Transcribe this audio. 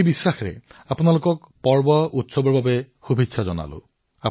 এই বিশ্বাসৰ সৈতে আপোনালোক সকলোলৈ পুনৰ বাবে উৎসৱসমূহৰ বাবে শুভেচ্ছা জনালো